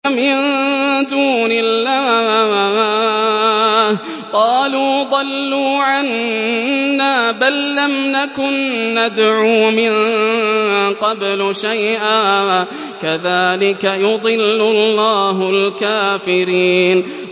مِن دُونِ اللَّهِ ۖ قَالُوا ضَلُّوا عَنَّا بَل لَّمْ نَكُن نَّدْعُو مِن قَبْلُ شَيْئًا ۚ كَذَٰلِكَ يُضِلُّ اللَّهُ الْكَافِرِينَ